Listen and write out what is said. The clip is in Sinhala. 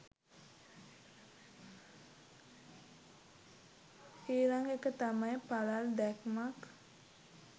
ඊළඟ එක තමයි පළල් දැක්මක්